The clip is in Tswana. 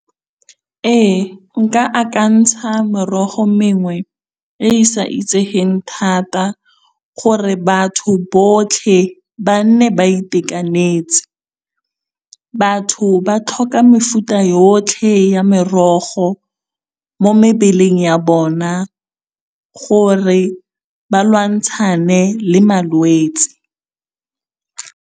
Ee nka akantsha morogo mengwe e e sa itsegeng thata gore batho botlhe ba nne ba itekanetse. Batho ba tlhoka mefuta yotlhe ya merogo mo mebeleng ya bona gore ba lwantshane le malwetse.